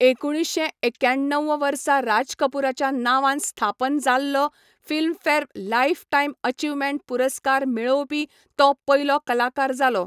एकुणशे एक्क्याण्णव वर्सा राजकपूराच्या नांवांन स्थापन जाल्लो फिल्मफेअर लायफटायम अचिव्हमेंट पुरस्कार मेळोवपी तो पयलो कलाकार जालो.